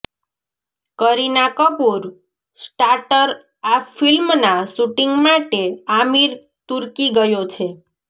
Kareena Kapoor starrer આ ફિલ્મના shooting માટે આમીર તુર્કી ગયો છે